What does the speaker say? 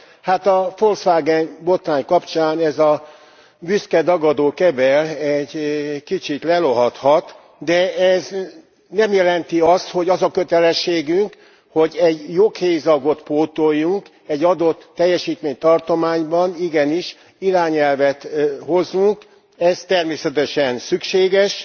Hát, a Volkswagen botrány kapcsán ez a büszke, dagadó kebel egy kicsit lelohadhat, de ez nem jelenti azt, hogy az a kötelességünk, hogy egy joghézagot pótoljunk, egy adott teljesítménytartományban igenis irányelvet hozzunk, ez természetesen szükséges.